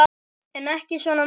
En ekki svona mikið.